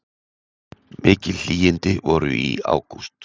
Mikil hlýindi voru í ágúst